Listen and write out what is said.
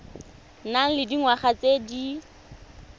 nang le dingwaga tse di